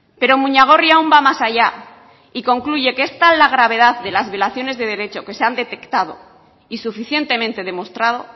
pero muñagorri aun va más allá y concluye que es tal la gravedad de las violaciones de derecho que se han detectado y suficientemente demostrado